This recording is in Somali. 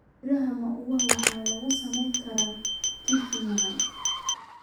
Midhaha muwa waxaa lagu sameyn karaa keki macaan.